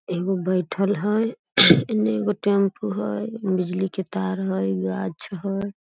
एगो बइठल हय एन्ने एगो टैम्पु हय बिजली के तार हय गाछ हय।